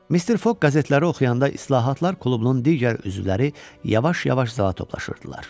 Mr Foq qəzetləri oxuyanda İslahatlar klubunun digər üzvləri yavaş-yavaş zala toplaşırdılar.